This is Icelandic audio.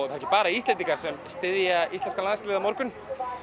ekki bara Íslendingar sem styðja íslenska landsliðið á morgun